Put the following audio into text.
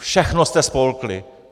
Všechno jste spolkli!